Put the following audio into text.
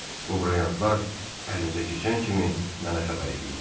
Bu brilliantlar əlinizə keçən kimi mənə xəbər eləyin.